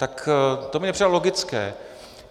Tak to mi přijde logické.